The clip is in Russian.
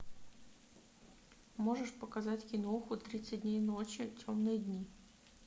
можешь показать киноху тридцать дней ночи темные дни